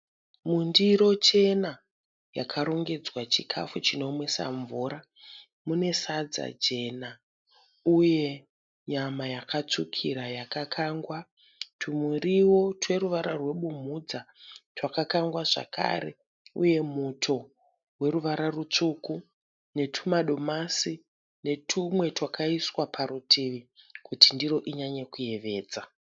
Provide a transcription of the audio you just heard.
Mundiro chena yakarongedzwa chikafu chinomwisa mvura. Mune sadza jena uye nyama yakatsukira yakakangwa. Tumiriwo tweruvara rebumhudza twakakangwa zvakare uye muti weruvara rutsvuku, netuma domasi netumwe twakaiswa parutivi kuti ndiro inyanye kuyevedza.